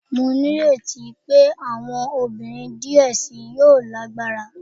Mo nireti pe awọn obinrin diẹ sii yoo ni agbara